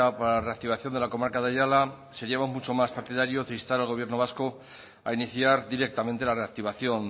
para la reactivación de la comarca de aiala seríamos mucho más partidarios de instar al gobierno vasco a iniciar directamente la reactivación